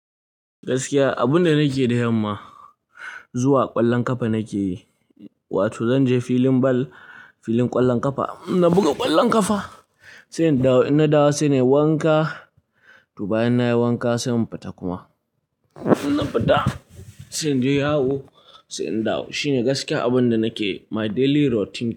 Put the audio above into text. Gaskiya abunda nake da yamma zuwa ƙwallon ƙafa nake yi, wato zanje filin ball, filin ƙwallon ƙafa. Na buga ƙwallon ƙafa sai in dawo. In na dawo sai nayi wanka to bayan nayi wanka sai in fita kuma. In na fita sai inje yawo sai in dawo. Shine gaskiya abunda nake, my daily routine.